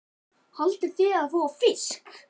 Ingveldur: Haldið þið að þið fáið fisk?